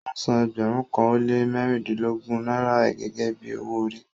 Ọ́ sàn ẹgbérùn kan o le mẹ̀rìnlẹ̀lọ́gójì Naira gẹ́gẹ́ bí ọwọ-òrì